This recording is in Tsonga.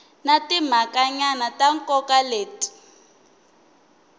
na timhakanyana ta nkoka leti